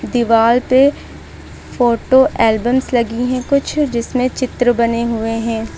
दीवाल पे photo albums लगी कुछ जिसमे चित्र बने हुए है।